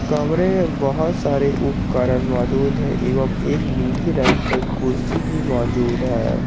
कमरे में बहोत सारे उपकरण मौजूद है एवं एक नीली रंग का कुर्सी भी मौजूद है।